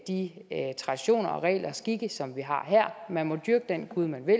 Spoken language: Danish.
de traditioner og regler og skikke som vi har her man må dyrke den gud man vil